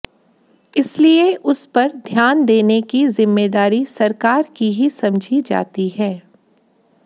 इसीलिए उस पर ध्यान देने की जिम्मेदारी सरकार की ही समझी जाती है